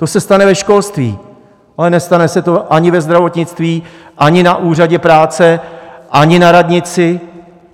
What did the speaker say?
To se stane ve školství, ale nestane se to ani ve zdravotnictví, ani na úřadě práce, ani na radnici.